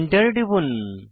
Enter টিপুন